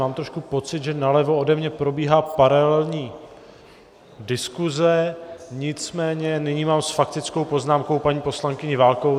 Mám trochu pocit, že nalevo ode mě probíhá paralelní diskuze, nicméně nyní mám s faktickou poznámkou paní poslankyni Válkovou.